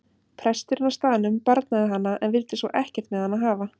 Presturinn á staðnum barnaði hana en vildi svo ekkert með hana hafa.